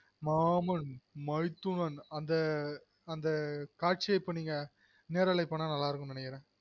மாமன் மைத்துனன் அந்த காட்சியை நீங்க நெரலை பன்னா நல்லாருக்கும்னு நெனைகுறென்